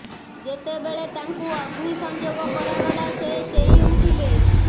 ଯେତେବେଳେ ତାଙ୍କୁ ଅଗ୍ନି ସଂଯୋଗ କରାଗଲା ସେ ଚେଇଁ ଉଠିଲେ